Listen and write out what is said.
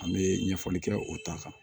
An bɛ ɲɛfɔli kɛ o ta kan